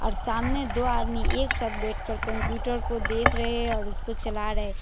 और सामने दो आदमी एक साथ बैठकर कंप्यूटर को देख रहे हैं और उसको चला रहे हैं।